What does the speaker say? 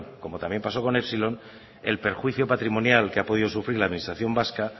como también pasó con epsilon el perjuicio patrimonial que ha podido sufrir la administración vasca